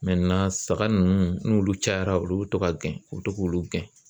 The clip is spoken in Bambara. saga nunnu n'olu cayara olu bi to ka gen u bi to k'olu gɛn.